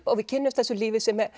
og við kynnumst þessu lífi sem